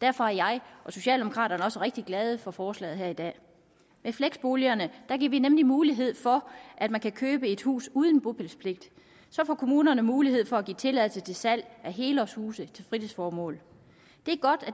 derfor er jeg og socialdemokraterne også rigtig glade for forslaget her i dag med fleksboligerne giver vi nemlig mulighed for at man kan købe et hus uden bopælspligt så får kommunerne mulighed for at give tilladelse til salg af helårshuse til fritidsformål det er godt